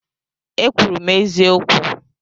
E kwuru m eziokwu